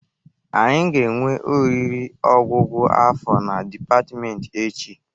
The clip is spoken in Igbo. Anyị ga-enwe oriri ọgwụgwụ afọ na dịpatmenti echi